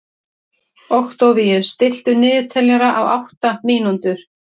Októvíus, stilltu niðurteljara á átta mínútur.